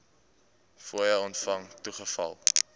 fooie ontvang toegeval